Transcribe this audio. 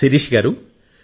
శిరీష గారూ